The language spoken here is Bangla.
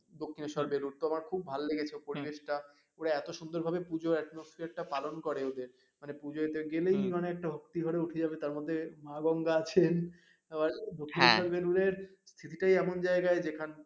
দক্ষিণেশ্বর বেলুড় তো আমার খুব ভালো লেগেছে পরিবেশটা এত সুন্দর ভাবে পুজো আত্মোসফেররে টা পালন করে ওদের মানে পুজোতে গেলেই মানে ভক্তি করে উঠে যাবে তার মধ্যে মা গঙ্গা আছেন আবার দক্ষিণেশ্বর বেলুড়ের ভিটি টাই এমন জায়গায় যেখানে